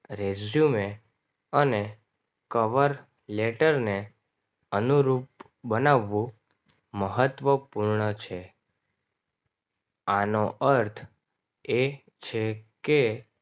resume અને cover લેટરને અનુરૂપ બનાવવું મહત્વપૂર્ણ છે આનો અર્થ એ છે કે